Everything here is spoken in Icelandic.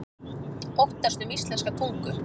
Óttast um íslenska tungu